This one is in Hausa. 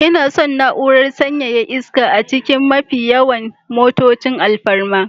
Ina son na'urar sanyaya iska a cikin mafi yawan motocin alfarma